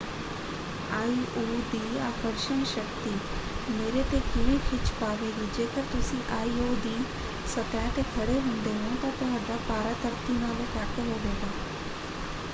IO. ਦੀ ਆਕਰਸ਼ਣ ਸ਼ਕਤੀ ਮੇਰੇ ‘ਤੇ ਕਿਵੇਂ ਖਿੱਚ ਪਾਵੇਗੀ? ਜੇਕਰ ਤੁਸੀਂ ਆਇ.ਓ. ਦੀ ਸਤਹ 'ਤੇ ਖੜੇ ਹੁੰਦੇ ਹੋ ਤਾਂ ਤੁਹਾਡਾ ਭਾਰਾ ਧਰਤੀ ਨਾਲੋਂ ਘੱਟ ਹੋਵੇਗਾ।